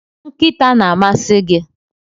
nkịta na-amasị gị?